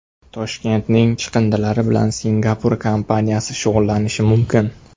Toshkentning chiqindilari bilan Singapur kompaniyasi shug‘ullanishi mumkin .